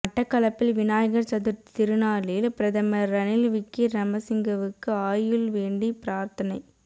மட்டக்களப்பில் விநாயகர் சதுர்த்தி திருநாளில் பிரதமர் ரணில் விக்கிரமசிங்கவுக்கு ஆயுள் வேண்டி பிரார்த்தனை